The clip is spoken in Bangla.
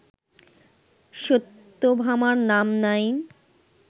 সত্যভামার নাম নাই